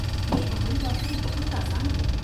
یہ عمل واقعی بہت آسان ہے۔